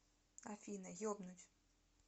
афина ебнуть